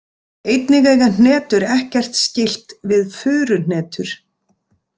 Einnig eiga hnetur ekkert skylt við furuhnetur.